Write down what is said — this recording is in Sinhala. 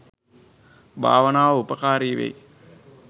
භාවනාව උපකාරී වෙයි.